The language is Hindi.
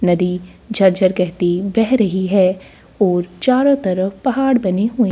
नदी झरझर कहती बह रही है और चारों तरफ पहाड़ बने हुए --